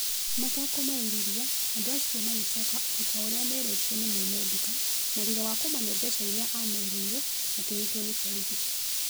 mata-kũmaĩrĩria andũ acio magĩcoka ota ũrĩa merĩtwo nĩ mwene nduka na thutha wa kũmane mbeca ĩria amerĩire makĩnyitwo ni borithi